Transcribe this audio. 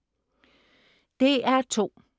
DR2: